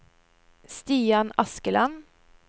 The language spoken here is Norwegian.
Stian Askeland